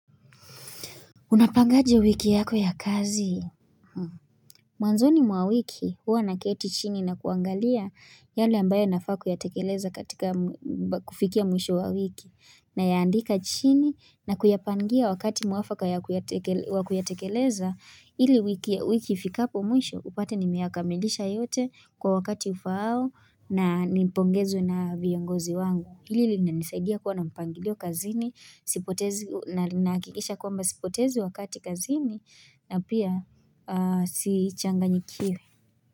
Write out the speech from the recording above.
Unapangaje wiki yako ya kazi? Mwanzoni mwa wiki huwa naketi chini na kuangalia yale ambayo nafaa kuyatekeleza katika kufikia mwisho wa wiki. Nayaandika chini na kuyapangia wakati mwafaka wa kuyatekeleza ili wiki ifikapo mwisho upate nimeyakamilisha yote kwa wakati ufao na nipongezwe na viongozi wangu. Hili linanisaidia kuwa na mpangilio kazini nina hakikisha kwamba sipotezi wakati kazini na pia sichanganyikiwi.